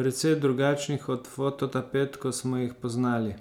precej drugačnih od fototapet, kot smo jih poznali.